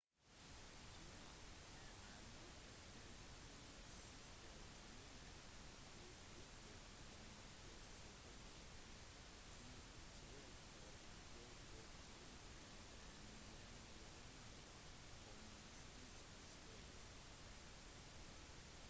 kina har i løpet av de tre siste tiårene utviklet en markedsøkonomi til tross for at det offisielt er en gjenværende kommunistisk stat